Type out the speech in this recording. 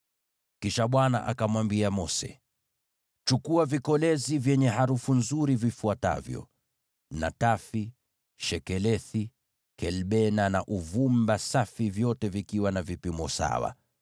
Kisha Bwana akamwambia Mose, “Chukua vikolezi vyenye harufu nzuri vifuatavyo: natafi, shekelethi, kelbena na uvumba safi vyote vikiwa na vipimo sawa,